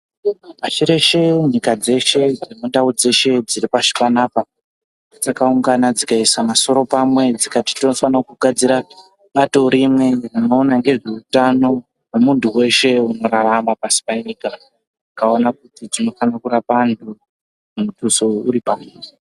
Pashi reshe, nyika dzeshe nendau dzeshe dziri pashi panapa dzakaungana dzikaisa masoro pamwe dzikati tofanira kugadzira bato rimwe rinoona ngezveutano hwemuntu weshe unorarama pasi penyika vakaona kuti tinofanira kurapa antu mutuso uri pamhiri.